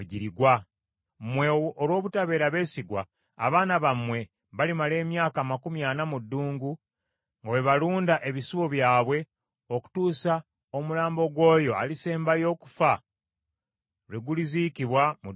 Mmwe olw’obutabeera beesigwa, abaana bammwe balimala emyaka amakumi ana mu ddungu nga bwe balunda ebisibo byabwe okutuusa omulambo gw’oyo alisembayo okufa lwe guliziikibwa mu ddungu muno.